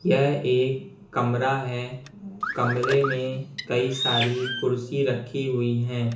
यह एक कमरा है कमरे में कई सारी कुर्सी रखी हुई है।